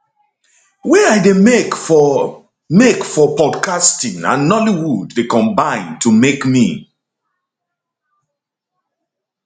wey i dey make for make for podcasting and nollywood dey combine to make me